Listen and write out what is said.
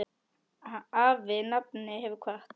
Afi nafni hefur kvatt.